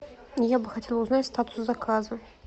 я бы хотела узнать статус заказа